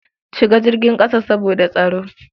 Shiga jirgin ƙasa saboda tsaro.